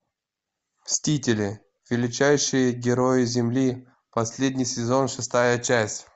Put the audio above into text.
мстители величайшие герои земли последний сезон шестая часть